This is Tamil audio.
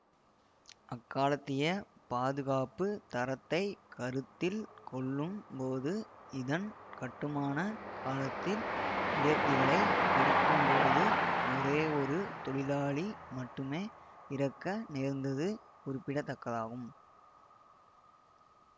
அக்காலத்திய பாதுகாப்பு தரத்தை கருத்தில் கொள்ளும்போது இதன் கட்டுமான காலத்தில் உயர்த்திகளைப் பொருத்தும்போது ஒரேயொரு தொழிலாளி மட்டுமே இறக்க நேர்ந்தது குறிப்பிடத்தக்கதாகும்